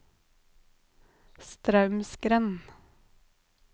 Straumsgrend